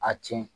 A tiɲɛ